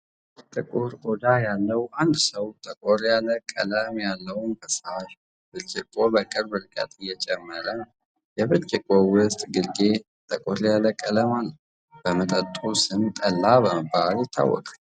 ጥቁር ቆዳ ያለው አንድ ሰው ጠቆር ያለ ቀለም ያለውን ፈሳሽ ብርጭቆ በቅርብ ርቀት እየጨመረ ነው። የብርጭቆው ውስጥ ግርጌ ጠቆር ያለ ቀለም አለው። የመጠጡ ስም ጠላ በመባል ይታወቃል።